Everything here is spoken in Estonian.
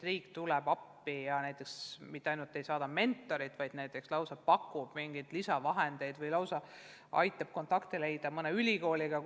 Riik tuleb appi ja mitte ainult ei saada mentoreid, vaid näiteks lausa pakub lisavahendeid või aitab leida kontakti mõne ülikooliga.